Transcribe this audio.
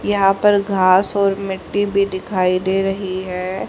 यहा पर घास और मिट्टी भी दिखाई दे रही है।